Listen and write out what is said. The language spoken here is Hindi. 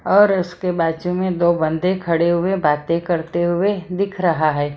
और उसके बाजू में दो बंदे खड़े हुए बातें करते हुए दिख रहा है।